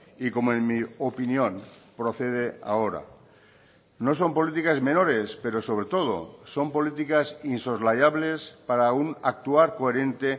y como en mi opinión procede ahora no son políticas menores pero sobre todo son políticas insoslayables para un actuar coherente